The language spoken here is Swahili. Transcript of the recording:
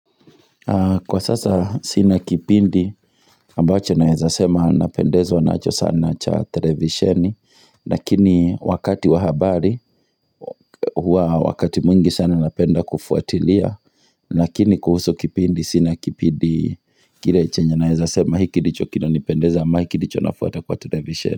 Kwa sasa sina kipindi ambacho naweza sema napendezwa nacho sana cha televisheni Lakini wakati wa habari huwa wakati mwingi sana napenda kufuatilia Lakini kuhusu kipindi sina kipindi kile chenye naweza sema hiki ndicho kinanipendeza ama hiki ndicho nafuata kwa televisheni.